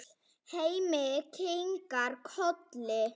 Hemmi kinkar kolli.